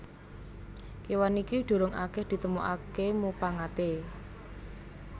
Kéwan iki durung akèh ditemokaké mupangaté